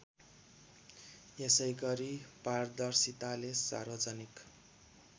यसैगरी पारदर्शिताले सार्वजानिक